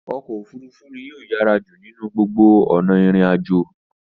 Ọkọ̀ òfurufú ní o yàrá jù ninu gbó ona irin àjò.